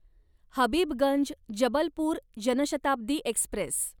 Habibganj Jabalpur Janshatabdi Express